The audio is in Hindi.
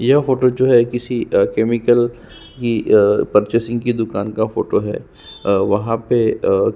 यह फोटो जो है किसी केमिकल की पर्चेसिंग की दुकान का फोटो है और वहाँ पे अ --